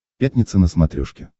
пятница на смотрешке